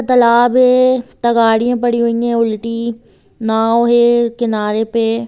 तालाब है तगाड़ियाँ पड़ी हुई हैं उलटी नाव है किनारे पे।